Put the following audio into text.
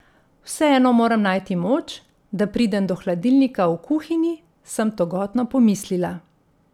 Vseeno moram najti moč, da pridem do hladilnika v kuhinji, sem togotno pomislila.